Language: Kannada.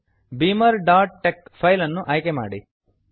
beamerಟೆಕ್ಸ್ ಬೀಮರ್ ಡಾಟ್ ಟೆಕ್ ಫೈಲ್ ಅನ್ನು ಆಯ್ಕೆ ಮಾಡಿ